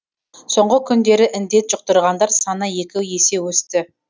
соңғы күндері індет жұқтырғандар саны екі есе өсті